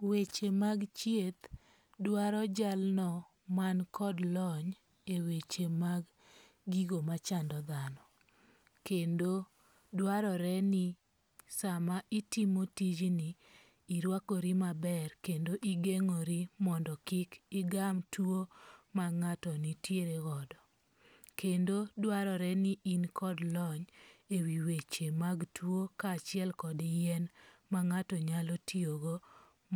Weche mag thieth dwaro jalno man kod lony e weche mag gigo machando dhano. Kendo dwarore ni sama itimo tijni irwakori maber kendo igeng'ori mondo kik igam tuwo ma ng'ato nitiere godo. Kendo dwarore ni in kod lony ewi weche mag tuo kaachiel kod yien ma ng'ato nyalo tiyogo.